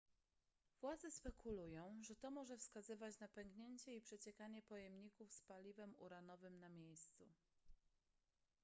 władze spekulują że to może wskazywać na pęknięcie i przeciekanie pojemników z paliwem uranowym na miejscu